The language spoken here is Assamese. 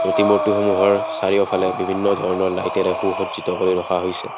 সমূহৰ চাৰিওফালে বিভিন্ন ধৰণৰ লাইটেৰে সুসজিৰ্ত কৰি ৰখা হৈছে।